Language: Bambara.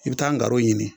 I bɛ taa garo ɲini